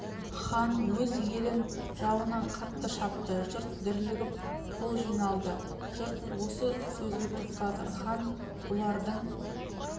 хан өз елін жауынан қатты шапты жұрт дүрлігіп қол жиналды жұрт осы сөзге тоқтады хан бұлардың